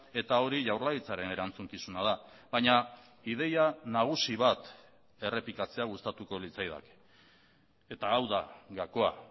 eta hori jaurlaritzaren erantzukizuna da baina ideia nagusi bat errepikatzea gustatuko litzaidake eta hau da gakoa